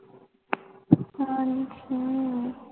ਹਾਂਜੀ